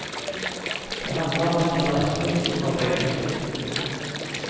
Det handler om tilrettelegging for begge kjønn.